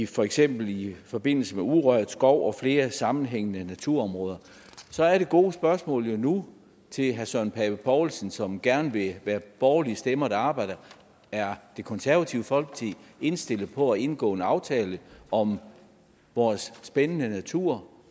for eksempel i forbindelse med urørt skov og flere sammenhængende naturområder så er det gode spørgsmål jo nu til herre søren pape poulsen som gerne vil være borgerlige stemmer der arbejder er det konservative folkeparti indstillet på at indgå en aftale om vores spændende natur